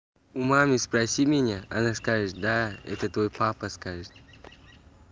у мамы спроси меня она скажет да это твой папа скажет